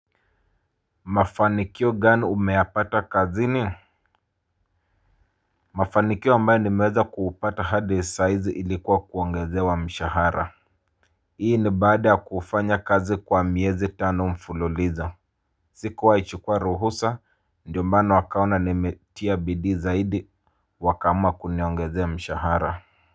Mafanikio gani umeyapata kazini? Mafanikio mbayo nimeweza kuupata hadi saa hizi ilikuwa kuongezewa mshahara. Hii ni baada ya kufanya kazi kwa miezi tano mfululizo. Sikuwai chukua ruhusa ndio maana wakaona nimetia bidii zaidi wakaamua kuniongezea mshahara.